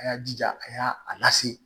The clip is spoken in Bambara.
A y'a jija a y'a a lase